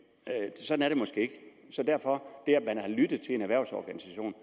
sådan er det måske ikke derfor er man har lyttet til en erhvervsorganisation